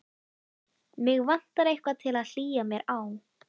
Mig vantar eitthvað til að hlýja mér á.